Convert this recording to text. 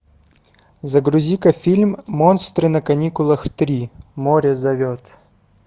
загрузи ка фильм монстры на каникулах три море зовет